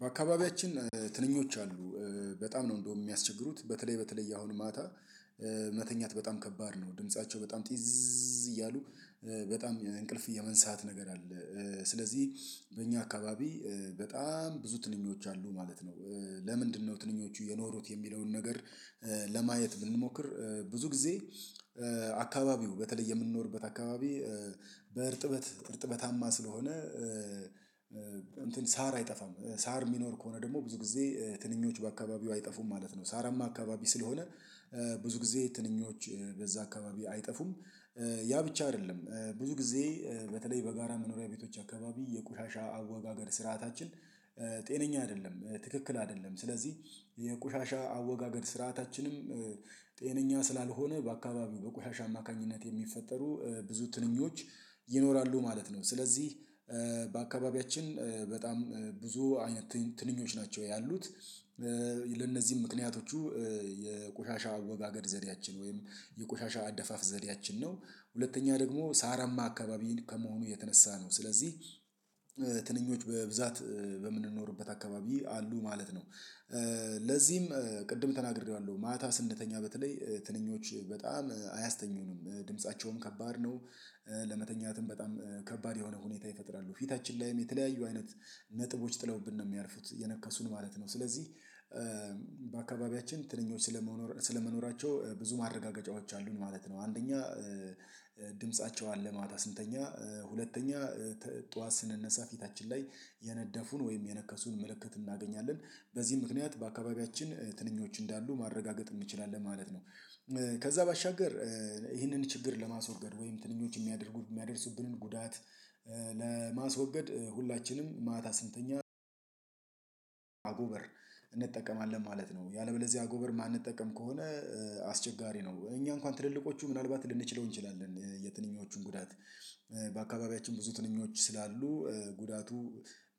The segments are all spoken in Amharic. በአካባቢያችን ትንኞች አሉ በጣም ነው እንደው የሚያስቸግሩት በተለይ በተለይ አሁን ማታ መተኛት በጣም ከባድ ነው ድምፃቸው በጣም ጢዝዝዝዝዝ እያሉ በጣም እንቅልፍ የመንሳት ነገር አለ ስለዚህ በእኛ አካባቢ በጣም ብዙ ትንኞች አሉ ማለት ነው ለምንድነው ትንኞቹ የኖሩት የሚለውን ነገር ለማየት ብንሞክር ብዙ ጊዜ አካባቢው በተለይ የምንኖርበት አካባቢ በእርጥበት እርጥበታማ ስለሆነ ሳር አይጠፋም ሳር ሚኖር ከሆነ ደግሞ ብዙ ጊዜ ትንኞቹ በአካባቢው አይጠፉም ማለት ነው ሳራማ አካባቢ ስለሆነ ብዙ ጊዜ ትንኞች በዛ አካባቢ አይጠፉም ያ ብቻ አደለም ብዙ ጊዜ በተለይ በጋራ መኖሪያ ቤቶች አካባቢ የቆሻሻ አወጋገድ ስርዓታችን ጤነኛ አደለም ትክክል አደለም ስለዚህ የቆሻሻ አወጋገድ ስርዓታችንም ጤነኛ ስላልሆነ በአካባቢው በቆሻሻ አማካኝነት የሚፈጠሩ ብዙ ትንኞች ይኖራሉ ማለት ነው ስለዚህ በአካባቢያችን በጣም ብዙ አይነት ትንኞች ናቸው ያሉት ለእነዚህም ምክንያቶቹ የቆሻሻ አወጋገድ ዘዴያችን ወይም የቆሻሻ አደፋፍ ዘዴያችን ነው ሁለተኛ ደግሞ ሳራማ አካባቢን ከመሆኑ የተነሳ ነው ስለዚህ ትንኞች በብዛት በምንኖርበት አካባቢ አሉ ማለት ነው። ለዚህም ቅድም ተናግሬዋለሁ ማታ ስንተኛ በተለይ ትንኞች በጣም አያስተኙንም ድምፃቸውም ከባድ ነው ለመተኛትም በጣም ከባድ የሆነ ሁኔታ ይፈጥራሉ ፊታችን ላይም የተለያዩ አይነት ነጥቦች ጥለውብን ነው የሚያርፉት እየነከሱን ማለት ነው ስለዚህ በአካባቢያችን ትንኞች ስለመኖር ስለመኖራቸው ብዙ ማረጋገጫዎች አሉን ማለት ነው አንደኛ ድምፃቸው አለ ማታ ስንተኛ ሁለተኛ ጠዋት ስንነሳ ፊታችን ላይ የነደፉን ወይም የነከሱን ምልክት እናገኛለን በዚህ ምክንያት በአካባቢያችን ትንኞች እንዳሉ ማረጋገጥ እንችላለን ማለት ነው። ከዛ ባሻገር ይህንን ችግር ለማስወገድ ወይም ትንኞች ሚያደርጉ የሚያደርሱብንን ጉዳት ለማስወገድ ሁላችንም ማታ ስንተኛ አጎበር እንጠቀማለን ማለት ነው ያለበለዚያ አጎበር ማንጠቀም ከሆነ አስቸጋሪ ነው እኛ እንኳን ትልልቆቹ ምናልባት ልንችለው እንችላለን የትንኞቹን ጉዳት በአካባቢያችን ብዙ ትንኞች ስላሉ ጉዳቱ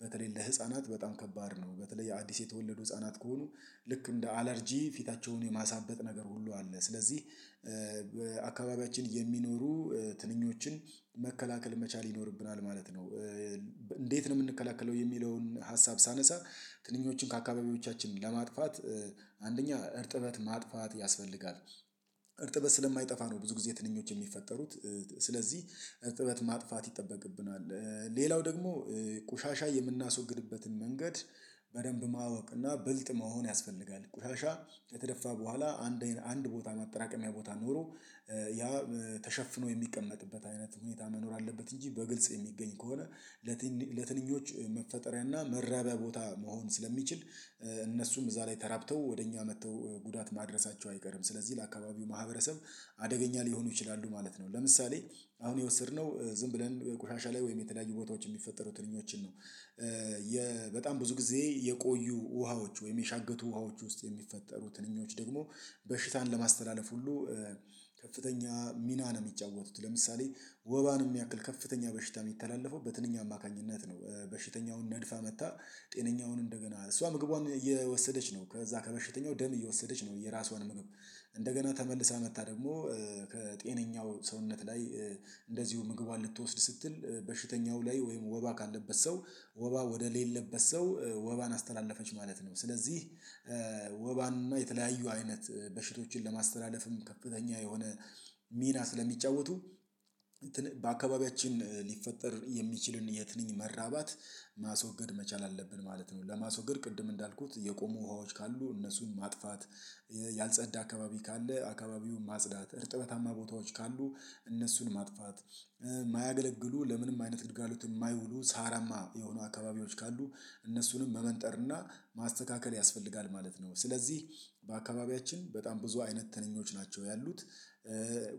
በተለይ ለህፃናት በጣም ከባድ ነው በተለይ አዲስ የተወለዱ ህፃናት ከሆኑ ልክ እንደ አለርጂ ፊታቸውን የማሳበጥ ነገር ሁሉ አለ ስለዚህ አካባቢያችን የሚኖሩ ትንኞችን መከላከል መቻል ይኖርብናል ማለት ነው እንዴት ነው ምንከላከለው የሚለውን ሀሳብ ሳነሳ ትንኞችን ከአካባቢዎቻችን ለማጥፋት አንደኛ እርጥበት ማጥፋት ያስፈልጋል እርጥበት ስለማይጠፋ ነው፤ ብዙ ጊዜ ትንኞች የሚፈጠሩት ስለዚህ እርጥበት ማጥፋት ይጠበቅብናል ሌላው ደግሞ ቆሻሻ የምናስወግድበትን መንገድ በደንብ ማወቅ እና ብልጥ መሆን ያስፈልጋል ቁሻሻ ከተደፋ በኋላ አንድ አንድ ቦታ ማጠራቀሚያ ቦታ ኖሮ ያ ተሸፍኖ የሚቀመጥበት አይነት ሁኔታ መኖር አለበት እንጂ በግልጽ የሚገኝ ከሆነ ለትንኝ ለትንኞች መፈጠሪያና መራቢያ ቦታ መሆን ስለሚችል እነሱም እዛ ላይ ተራብተው ወደ እኛ መጥተው ጉዳት ማድረሳቸው አይቀርም ስለዚህ ለአካባቢው ማህበረሰብ አደገኛ ሊሆኑ ይችላሉ ማለት ነው ለምሳሌ አሁን የወሰድነው ዝም ብለን ቆሻሻ ላይ ወይም የተለያዩ ቦታዎች የሚፈጠሩ ትንኞችን ነው በጣም ብዙ ጊዜ የቆዩ ውሃዎች ወይም የሻገቱ ውሃዎች ውስጥ የሚፈጠሩ ትንኞች ደግሞ በሽታን ለማስተላለፍ ሁሉ ከፍተኛ ሚና ነው ሚጫወቱት ለምሳሌ ወባን እሚያክል ከፍተኛ በሽታ ሚተላለፈው በትንኝ አማካኝነት ነው በሽተኛውን ነድፋ መጥታ ጤነኛውን እንደገና እሷ ምግቧን እየወሰደች ነው ከዛ ከበሽተኛው ደም እየወሰደች ነው የራሷን ምግብ እንደገና ተመልሳ መጥታ ደግሞ ከጤነኛው ሰውነት ላይ እንደዚሁ ምግቧን ልትወስድ ስትል በሽተኛው ላይ ወይም ወባ ካለበት ሰው ወባ ወደሌለበት ሰው ወባን አስተላለፈች ማለት ነው ስለዚህ ወባንና የተለያዩ አይነት በሽቶችን ለማስተላለፍም ከፍተኛ የሆነ ሚና ስለሚጫወቱ በአካባቢያችን ሊፈጠር የሚችልን የትንኝ መራባት ማስወገድ መቻል አለብን ማለት ነው ለማስወገድ ቅድም እንዳልኩት የቆሙ ውሃዎች ካሉ እነሱን ማጥፋት ያልጸዳ አካባቢ ካለ አካባቢውን ማጽዳት እርጥበታማ ቦታዎች ካሉ እነሱን ማጥፋት ማያገለግሉ ለምንም አይነት ግልጋሎት እማይውሉ ሳራማ የሆኑ አካባቢዎች ካሉ እነሱንም መመንጠርና ማስተካከል ያስፈልጋል ማለት ነው ስለዚህ በአካባቢያችን በጣም ብዙ አይነት ተነኞች ናቸው ያሉት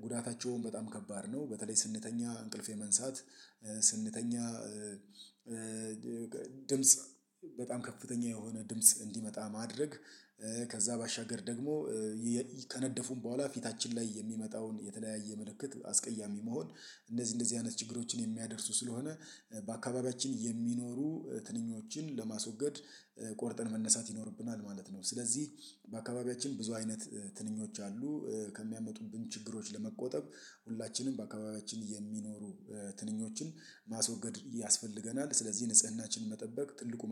ጉዳታቸውን በጣም ከባድ ነው በተለይ ስንተኛ እንቅልፍ የመንሳት ስንተኛ ድምጽ በጣም ከፍተኛ የሆነ ድምጽ እንዲመጣ ማድረግ ከዛ ባሻገር ደግሞ ከነደፉም በኋላ ፊታችን ላይ የሚመጣውን የተለያየ ምልክት አስቀያሚ መሆን እንደዚ እንደዚህ አይነት ችግሮችን የሚያደርሱ ስለሆነ በአካባቢያችን የሚኖሩ ትንኞችን ለማስወገድ ቆርጠን መነሳት ይኖርብናል ማለት ነው ስለዚህ በአካባቢያችን ብዙ አይነት ትንኞች አሉ ከሚያመጡብን ችግሮች ለመቆጠብ ሁላችንም በአካባቢያችን የሚኖሩ ትንኞችን ማስወገድ ያስፈልገናል ስለዚህ ንጽህናችንን መጠበቅ ትልቁ